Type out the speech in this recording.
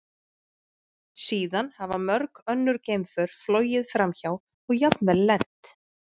Síðan hafa mörg önnur geimför flogið framhjá og jafnvel lent.